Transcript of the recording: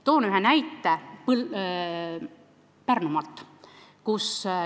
Toon ühe näite Pärnumaalt.